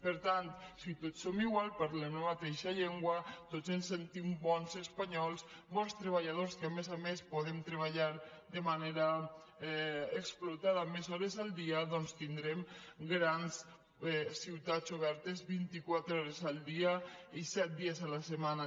per tant si tots som iguals parlem la mateixa llengua tots ens sentim bons espanyols bons treballadors que a més a més podem treballar de manera explotada més hores el dia doncs tindrem grans ciutats obertes vint i quatre hores el dia i set dies la setmana